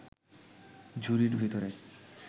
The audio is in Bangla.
ঝুড়ির ভিতরে